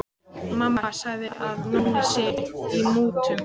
Mamma segir að Nonni sé í mútum.